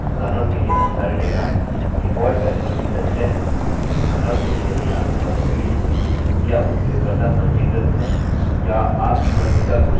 default value जोकि संचय है उदाहरण के लिए यदि आपके पास फील्डfield है क्या उपयोगकर्ता पंजीकृत है has the user registered